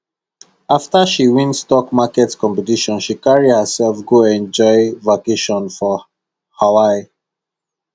after she win stock market competition she carry herself go enjoy vacation for hawaii